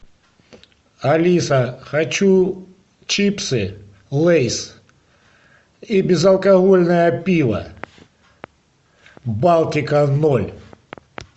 алиса хочу чипсы лейс и безалкогольное пиво балтика ноль